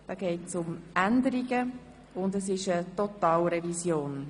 Es geht um Änderungen, und es ist eine Totalrevision.